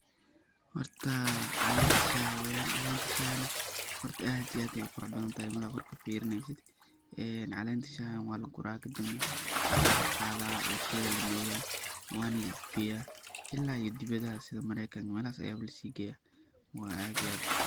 Horta calenta shaha weyan calenta shahana horta aad iyo aad ayey uqurux badantahay marka kor kafirineysid ee calenta shaha walagura kadibna walaqada oo warshada lamariya wana laiib geya ila iyo dibidaha sida mareykanka melahas aya lasigeya wa aad iyo aad.